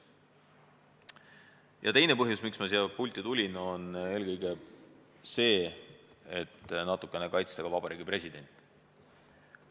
Ja teine põhjus, miks ma siia pulti tulin, on soov natukene kaitsta Vabariigi Presidenti.